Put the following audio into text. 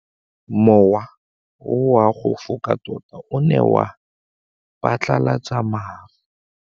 Mowa o wa go foka tota o ne wa phatlalatsa maru.